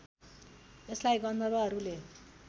यसलाई गन्धर्वहरूले